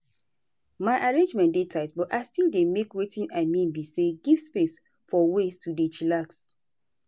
my arrangement dey tight but i still dey make wetin i mean be say give space for ways to dey chillax.